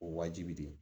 O wajibi de